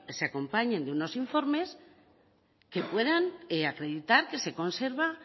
se acompañen de unos informes que puedan acreditar que se conserva